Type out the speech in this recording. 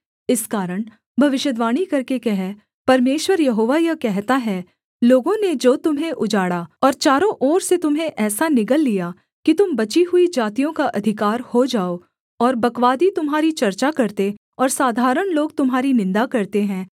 इस कारण भविष्यद्वाणी करके कह परमेश्वर यहोवा यह कहता है लोगों ने जो तुम्हें उजाड़ा और चारों ओर से तुम्हें ऐसा निगल लिया कि तुम बची हुई जातियों का अधिकार हो जाओ और बकवादी तुम्हारी चर्चा करते और साधारण लोग तुम्हारी निन्दा करते हैं